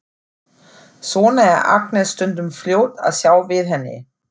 Svona er Agnes stundum fljót að sjá við henni.